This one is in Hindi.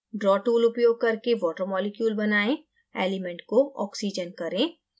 draw tool उपयोग करके water मॉलिक्यूल बनाएं element को oxygen करें